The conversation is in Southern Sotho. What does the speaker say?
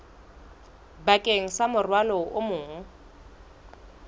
bakeng sa morwalo o mong